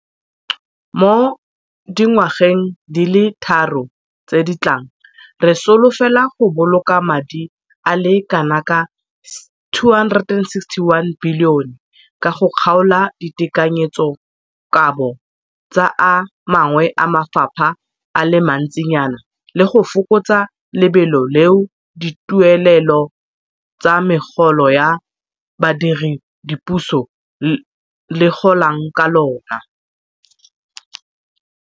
Mo dingwageng di le tharo tse di tlang, re solofela go boloka madi a le kanaka R261 bilione ka go kgaola ditekanyetsokabo tsa a mangwe a mafapha a le mantsinyana le go fokotsa lebelo leo dituelelo tsa megolo ya badiredipuso le golang ka lona.